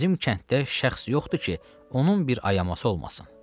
bizim kənddə şəxs yoxdur ki, onun bir ayaması olmasın.